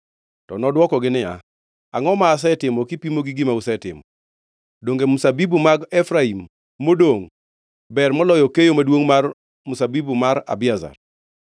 To nodwokogi niya, “Angʼo ma asetimo kipimo gi gima usetimo? Donge mzabibu mag Efraim modongʼ ber moloyo keyo maduongʼ mar mzabibu mar Abiezer?